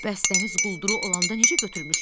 Bəs dəniz qulduru olanda necə götürmüşdüz?